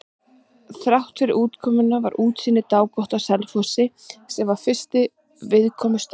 Þráttfyrir úrkomuna var útsýni dágott á Selfossi, sem var fyrsti viðkomustaður.